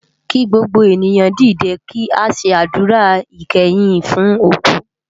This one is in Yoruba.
Ki gbógbó éniyan didé ki á sé ádúrá ikèyin fún ókú